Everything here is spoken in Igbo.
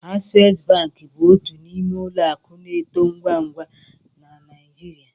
Access bank bụ otu n'ime ụlọ akụ na-eto ngwa ngwa na Naịjirịa